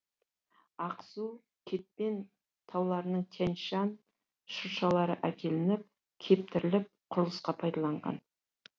ақсу кетпен тауларынан тянь шань шыршалары әкелініп кептіріліп құрылысқа пайдаланған